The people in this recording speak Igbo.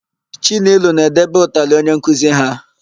Chinelo na-edebe ụtalị onye nkuzi ha.